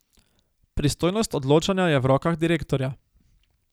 Pristojnost odločanja je v rokah direktorja.